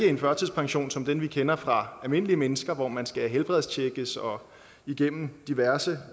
en førtidspension som den vi kender fra almindelige mennesker hvor man skal helbredstjekkes og igennem diverse